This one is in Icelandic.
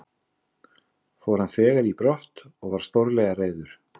Fór hann þegar í brott og var stórlega reiður.